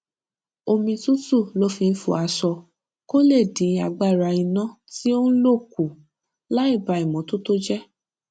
omi tútù ló fi ń fọ aṣọ kó lè dín agbára iná tí ó ń lò kù láìba ìmótótó jé